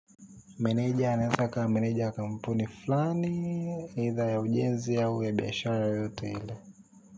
Meneja anaesa kaa meneja ya kampuni fulani eitha ya ujenzi au ya biashara yoyote ile.